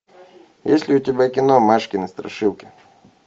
есть ли у тебя кино машкины страшилки